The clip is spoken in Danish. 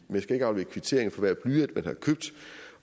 man skal ikke aflevere kvittering for hver blyant man har købt